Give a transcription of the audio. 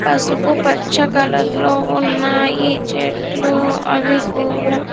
పసుపు పచ్చ కలర్ లో ఉన్నాయి చెట్లు అవి కూడా.